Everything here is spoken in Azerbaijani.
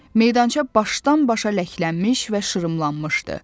Meydança başdan-başa ləklənmiş və şırımlanmışdı.